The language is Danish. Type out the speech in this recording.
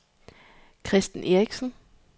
Kristen Eriksen